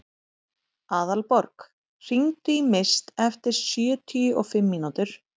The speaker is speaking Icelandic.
Aðalborg, hringdu í Mist eftir sjötíu og fimm mínútur.